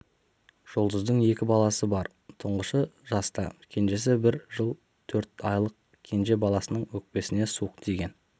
жұлдыздың екі баласы бар тұңғышы жаста кенжесі бір жыл төрт айлық кенже баласының өкпесіне суық тиген